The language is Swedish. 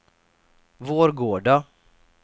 Vårgårda